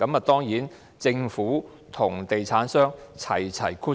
當然，政府和地產商一起"掠水"。